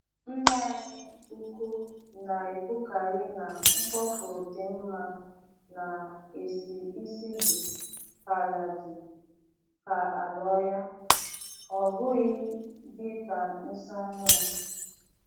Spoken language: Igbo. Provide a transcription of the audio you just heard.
Nna anyị ukwu na-ekwukari na mkpofu di mma na-esi isi di ka ala di ka ala ohia. ọ bụghị dị ka nsị ọhụrụ.